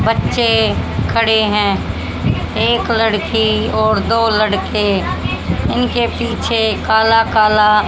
बच्चे खड़े हैं। एक लड़की और दो लड़के उनके पीछे काला काला--